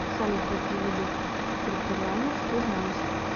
салют какие виды преторианец ты знаешь